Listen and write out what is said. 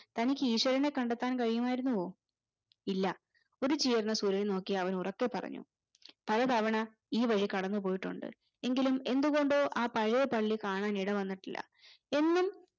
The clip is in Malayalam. തനിക്ക് ഈഷ്വരനെ കണ്ടെത്താൻ കഴിയുമായിരുന്നുവോ ഇല്ല ഉദിച്ചുയരുന്ന സൂര്യനെ നോക്കി അവൻ ഉറക്കെ പറഞ്ഞു പലതവണ ഈ വഴി കടന്നു പോയിട്ടുണ്ട് എങ്കിലും എന്തുകൊണ്ടോ ആ പഴയ പള്ളി കാണാൻ ഇടവന്നിട്ടില്ല എന്നും